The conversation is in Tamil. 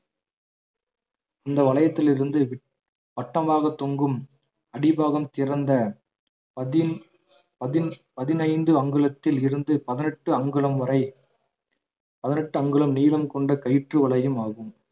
இந்த வளையத்தில் இருந்து விட்~ வட்டமாக தொங்கும் அடிப்பாகம் திறந்த பதின் பதினைந்து அங்குலத்தில் இருந்து பதினெட்டு அங்குலம் வரை பதினெட்டு அங்குலம் நீளம் கொண்ட கயிற்று வளையம் ஆகும்